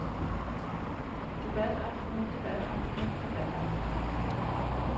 debataftner debataftner debataftner